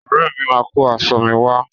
Ọ̀rẹ́ mi máa kó aṣọ mi wá.